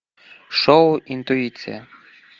шоу интуиция